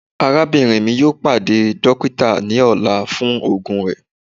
Arabinrin mi yoo pade dokita ni ọla fun oogun rẹ